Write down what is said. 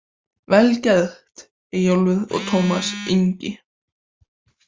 Vel gert Eyjólfur og Tómas Ingi.